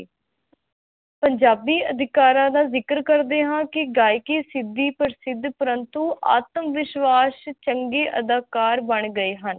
ਪੰਜਾਬੀ ਅਧਿਕਾਰਾ ਦਾ ਜ਼ਿਕਰ ਕਰਦੇ ਹਾਂ ਕੀ ਗਯਾਕੀ ਸੀਧੀ ਪ੍ਰਸਿਧ ਪਰੰਤੂ ਆਤਮਵਿਸ਼ਵਾਸ ਚੰਗੀ ਅਧਾਕਰ ਬਣ ਗਏ ਹਨ